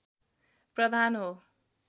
प्रधान हो